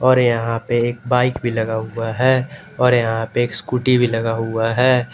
और यहां पे एक बाइक भी लगा हुआ है और यहां पे स्कूटी भी लगा हुआ है।